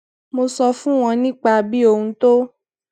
mo sọ fún wọn nípa bí ohùn tó